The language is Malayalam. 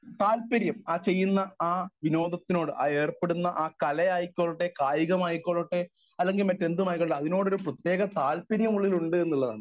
സ്പീക്കർ 1 താല്പര്യം ആ ചെയ്യുന്ന ആ വിനോദത്തിനോട് ആ ഏർപ്പെടുന്ന കല ആയിക്കൊള്ളട്ടെ കായികം ആയിക്കൊള്ളട്ടെ അല്ലങ്കിൽ മറ്റെന്തുമായിക്കൊള്ളട്ടെ അതിനോട് ഒരു പ്രത്യേക താല്പര്യം ഉള്ളിൽ ഉണ്ട് എന്നുള്ളതാണ്.